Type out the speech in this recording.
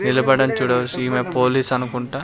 నిలబడం చూడవచ్చు ఈమె పోలీస్ అనుకుంటా.